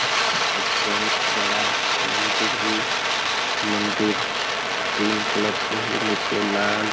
एक बहुत बड़ा मंदिर हे मंदिर तीन कलर से हे नीचे लाल--